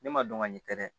Ne ma dɔn ka ɲɛ kɛ dɛ